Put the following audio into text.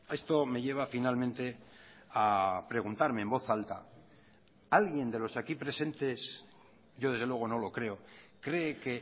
esto me lleva finalmente a preguntarme en voz alta alguien de los aquí presentes yo desde luego no lo creo cree que